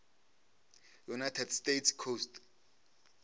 united states coast